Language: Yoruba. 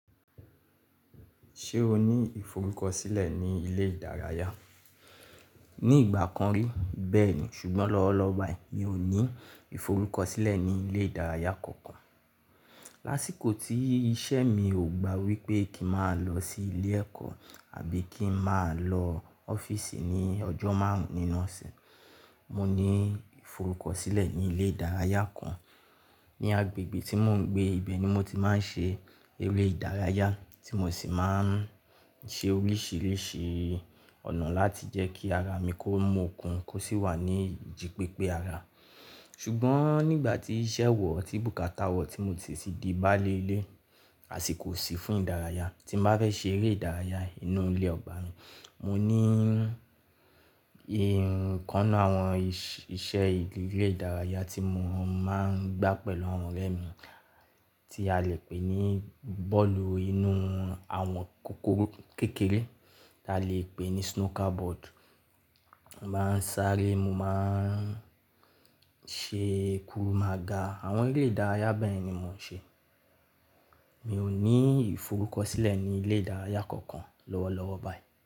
Ṣé o ní ìforúkọ̀sílẹ̀ ní ilé ìdárayá? Ní ìgbà kan rí bẹ́ẹ̀ ni, ṣùgbọ́n lọ́wọ́lọ́wọ́ báyìí mi ò ní ìforúkọ̀sílẹ̀ ní ilé ìdárayá kankan. Láṣíko tí iṣẹ́ mi ò gba wípé kí n má lọ sí ilé ẹ̀kọ́ àbí kí n má lọ ọ́fíìsì ní ọjọ́ márùn nínu ose, mo ní ìforúkọ̀sílẹ̀ ní ilé ìdárayá kan ní agbègbè tí mò ń gbé. Ibẹ̀ ni mo ti máa ń ṣe eré ìdárayá tí mo sì máa ń ṣe oríṣìíríṣìí ọ̀nà láti jẹ́ kí ara mi kó mú okun kó sì wà ní ijí pépé ara. Ṣùgbọ́n nígbà tí iṣẹ́ wọ̀ tí bùkátà wọ̀ tí mo ti sì di báálé ilé, àṣíko o sì fún ìdárayá. Tí n bá fẹ́ ṣe eré ìdárayá inú ilé ọba ni, mo ní ìkan n nu àwọn iṣẹ́ ilé ìdárayá tí mo máa ń gbá pẹ̀lú àwọn ọ̀rẹ́ mi tí a lè pè ní bọ́ọ̀lù inú àwọn kòkòró kékeré tí a lè pè ní Snooker Board. Mo máa ń sáré, mo máa ń ṣe kurù màagà. Àwọn eré ìdárayá bẹ́yẹ̀n ni mò ń ṣe. Mi ò ní ìforúkọ̀sílẹ̀ ní ilé ìdárayá kankan lọ́wọ́lọ́wọ́ báyìí.